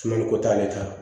Sumaliko t'ale ta ye